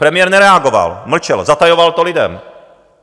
Premiér nereagoval, mlčel, zatajoval to lidem.